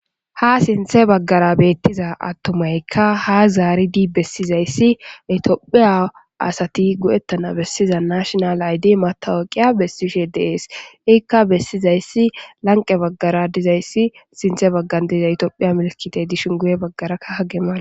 ha sinthe baggara beettiza attomaykka ha zaaridi bessizayssi itiyophiya asati go7ettana bessiza nashonal aydi matawuyqiya bessishe deees ikka bessizayssi lanqe baggara dizayssi sinthe baggan diza itiophiya milkite dishin guye baggarakka hagemala